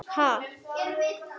Ha?